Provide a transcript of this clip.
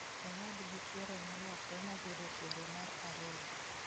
Owadgi chuore nolokre mobedo chuore mar ariyo